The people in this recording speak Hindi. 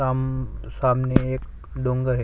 शाम सामने एक डोंगा हैं।